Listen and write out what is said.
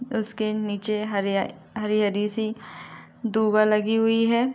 उसके नीचे हरी हरी सी डूबा लगी हुई है।